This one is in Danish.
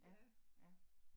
Ja, ja